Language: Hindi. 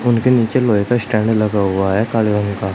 इनके नीचे लोहे का स्टैंड लगा हुआ है काले रंग का।